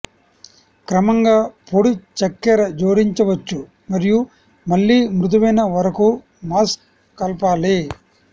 క్రమంగా పొడి చక్కెర జోడించవచ్చు మరియు మళ్ళీ మృదువైన వరకు మాస్ కలపాలి